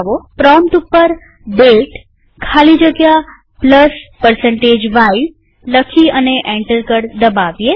prompt ઉપર દાતે ખાલી જગ્યા y લખી અને એન્ટર કળ દબાવીએ